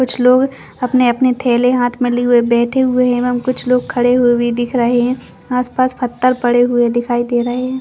कुछ लोग अपने - अपने थैले हाथ में लिये हुए बैठे हुए है एवं कुछ लोग खड़े हुए भी दिख रहे है आस - पास पत्थर पड़े हुए दिखाई दे रहे है।